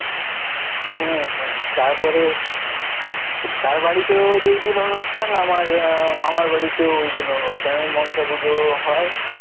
হুম হুম তারপরে তার বাড়িতেও যেদিন অনুষ্ঠান আমার মামার বাড়িতেও ঐ দিন অনুষ্ঠান ঐ মনসা পুজো হয়.